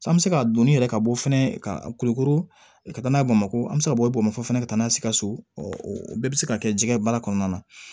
An bɛ se ka donni yɛrɛ ka bɔ fɛnɛ ka kulukoro ka taa n'a ye bamakɔ an bɛ se ka bɔ i b'o fɔ ka taa n'a ye sikaso o bɛɛ bɛ se ka kɛ jɛgɛ ye baara kɔnɔna na